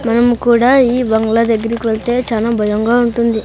మనం కూడా ఈ బంగ్లా దగ్గరికి వస్తే చానా భయంగా ఉంటుంది.